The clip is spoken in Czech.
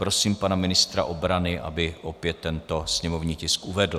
Prosím pana ministra obrany, aby opět tento sněmovní tisk uvedl.